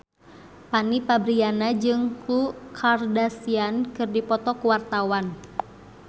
Fanny Fabriana jeung Khloe Kardashian keur dipoto ku wartawan